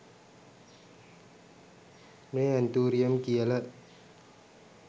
මේ ඇන්තූරියම් කියල